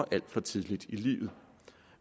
alt for tidligt i livet